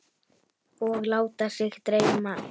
Og láta sig dreyma.